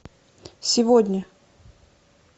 сегодня